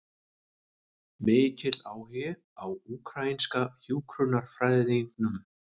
Mikill áhugi á úkraínska hjúkrunarfræðingnum